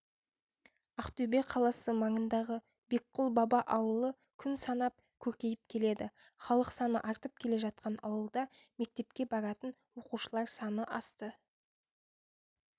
ақтөбе қаласы маңындағы бекқұл баба ауылы күн санап көркейіп келеді халық саны артып келе жатқан ауылда мектепке баратын оқушылар саны асты